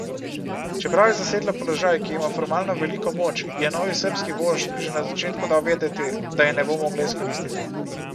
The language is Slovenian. Čeprav je zasedla položaj, ki ima formalno veliko moč, ji je novi srbski vožd že na začetku dal vedeti, da je ne bo mogla izkoristiti.